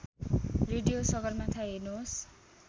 radio Sagarmatha हेर्नुहोस्